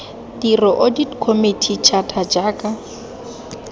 tiro audit committee charter jaaka